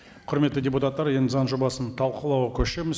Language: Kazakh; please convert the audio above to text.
құрметті депутаттар енді заң жобасын талқылауға көшеміз